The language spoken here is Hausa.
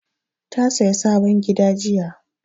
Ta saya sabon gida jiya